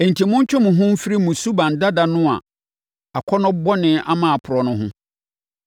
Enti, montwe mo ho mfiri mo suban dada no a akɔnnɔ bɔne ama aporɔ no ho.